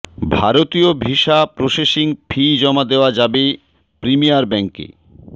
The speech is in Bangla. ভারতীয় ভিসা প্রসেসিং ফি জমা দেওয়া যাবে প্রিমিয়ার ব্যাংকে